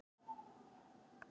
Skammt frá aðalstöðvunum.